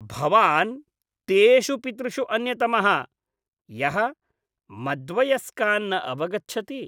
भवान् तेषु पितृषु अन्यतमः, यः मद्वयस्कान् न अवगच्छति।